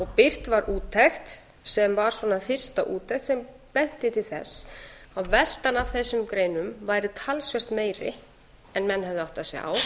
birt var úttekt sem var svona fyrsta úttekt sem benti til þess að veltan af þessum greinum væri talsvert meiri en menn hefðu áttað